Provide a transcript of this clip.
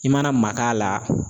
I mana mak'a la